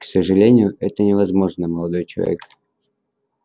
к сожалению это невозможно молодой человек